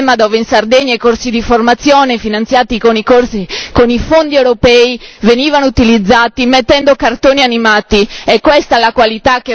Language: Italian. O si riferiva al sistema dove in Sardegna i corsi di formazione, finanziati con i fondi europei, venivano utilizzati mettendo cartoni animati?